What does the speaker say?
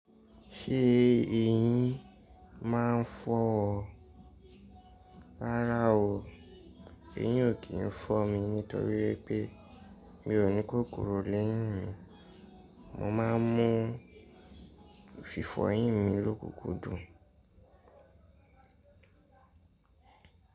Ṣé èyín ma ń fọ́ ọ? Rárá o, èyín ò kí ń fọ́ mi nítorí pé mi ò ní kókorò lẹ́yìn mi, mo ma ń mú fífọ eyín mi lókùkún dùn.